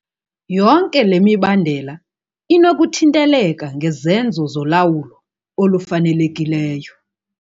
Yonke le mibandela inokuthinteleka ngezenzo zolawulo olufanelekileyo.